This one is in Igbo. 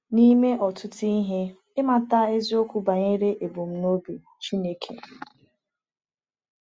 N’ime ọtụtụ ihe, ịmata eziokwu banyere ebumnobi Chineke.